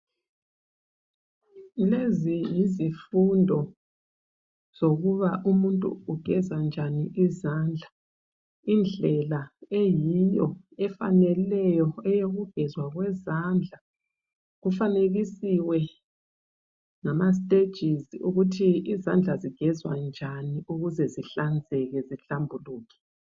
Lezi yizifundo zokuba umuntu ugeza njani izandla indlela eyiyo efaneleyo eyokugezwa kwezandla, kufanekisiwe ngama stejizi ukuthi izandla zigezwa njani ukuze zihlanzeke zihlambuluke.